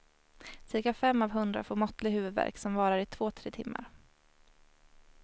Cirka fem av hundra får måttlig huvudvärk som varar i två tre timmar.